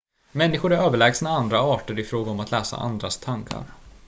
människor är överlägsna andra arter i fråga om att läsa andras tankar